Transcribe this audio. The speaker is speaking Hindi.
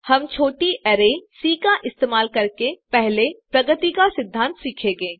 हम छोटी अरै सी का इस्तेमाल करके पहले प्रगति का सिद्धांत सीखेंगे